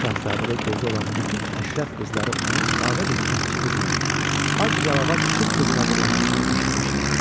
Şahzadədə gözü olan bütün əşrəf qızları onun sadə bir kəndçi qızına, ac yalavac şıx qızına vurulmasını eşitmişdilər.